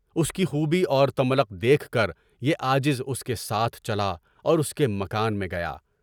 اس کی خوبی اور تملق دیکھ کر یہ عاجز اس کے ساتھ چلا اور اس کے مکان میں گیا۔